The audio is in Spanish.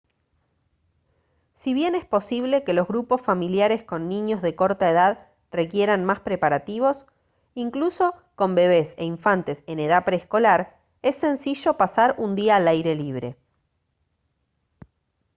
si bien es posible que los grupos familiares con niños de corta edad requieran más preparativos incluso con bebés e infantes en edad preescolar es sencillo pasar un día al aire libre